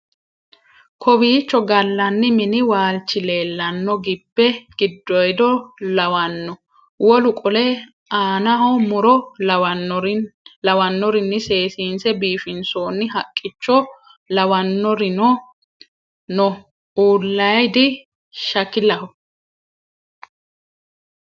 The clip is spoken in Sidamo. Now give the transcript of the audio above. kowicho gallanni mini waalchi leellanno gibbe gidoyidono lawanno wolu qole anaho muro lawannorinni seesiinse bifinsoonni haqqicho lawannorimno no uulaydi shakilaho